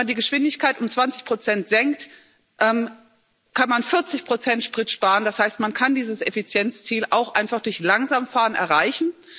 Wenn man die Geschwindigkeit um 20 senkt, kann man 40 Sprit sparen. Das heißt, man kann dieses Effizienzziel auch einfach durch langsames Fahren erreichen.